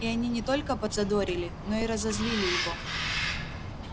и они не только подзадорили но и разозлили его